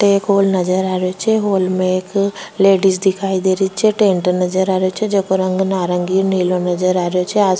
अठ एक हॉल नजर आ रो छे हॉल में एक लेडिस दिखाई दे रही छे टेंट नजर आ रो छे जेको रंग नारंगी नीलो नजर आ रो छे आ --